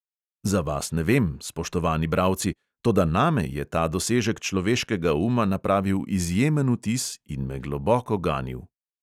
Za vas ne vem, spoštovani bralci, toda name je ta dosežek človeškega uma napravil izjemen vtis in me globoko ganil.